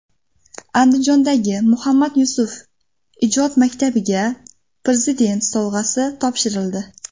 Andijondagi Muhammad Yusuf ijod maktabiga Prezident sovg‘asi topshirildi.